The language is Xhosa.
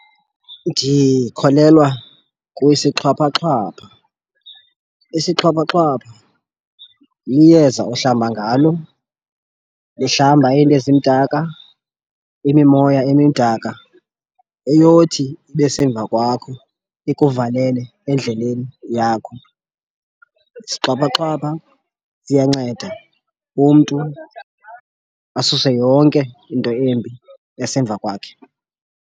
Ndikholelwa kwisixhwaphaxhwapha. Isixhwaphaxhwapha liyeza ohlamba ngalo lihlamba iinto ezimdaka, imimoya emidaka eyothi ibe semva kwakho ikuvalele endleleni yakho. Isixhwaphaxhwapha iyanceda umntu asuse yonke into embi esemva kwakhe.